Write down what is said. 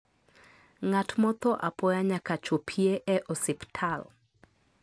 ngat motho apoya nyaka chopie e osiptal